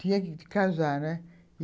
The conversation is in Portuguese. Tinha que casar, né?